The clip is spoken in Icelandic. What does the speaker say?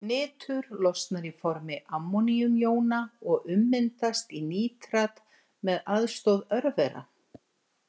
Nitur losnar í formi ammóníumjóna og ummyndast í nítrat með aðstoð örvera.